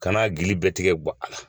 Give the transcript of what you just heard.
Kana gili bɛɛ tigɛ gɔ a la.